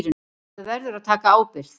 Maður verður að taka ábyrgð.